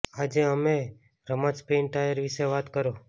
આજે અમે રમત સ્પિન ટાયર વિશે વાત કરો